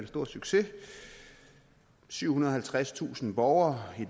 stor succes syvhundrede og halvtredstusind borgere i